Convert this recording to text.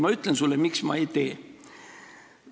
Ma ütlen sulle, miks ma ei tee.